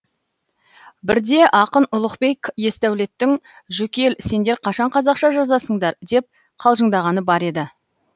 бірде ақын ұлықбек есдәулеттің жүкел сендер қашан қазақша жазасыңдар деп қалжыңдағаны бар еді